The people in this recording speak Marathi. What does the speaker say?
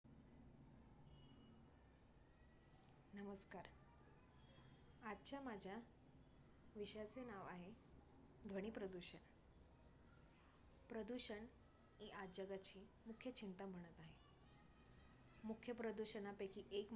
आजच्या माझ्या विषयाचे नाव आहे ध्वनी प्रदूषण. प्रदूषण ही आज जगाची मुख्य चिंता बनत आहे. मुख्य प्रदूषणापैकी एक